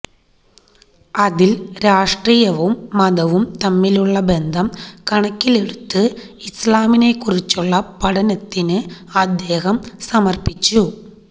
അതിൽ രാഷ്ട്രീയവും മതവും തമ്മിലുള്ള ബന്ധം കണക്കിലെടുത്ത് ഇസ്ലാമിനെക്കുറിച്ചുള്ള പഠനത്തിന് അദ്ദേഹം സമർപ്പിച്ചു